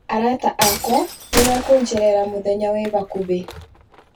Arata akwa nĩ mekunjerera mũthenya wĩ hakuhĩ